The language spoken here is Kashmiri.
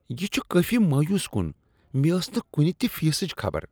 یہ چھ کٲفی مایوس کن۔ مےٚ ٲس نہٕ کُنہ تِہ فیسٕچ خبر۔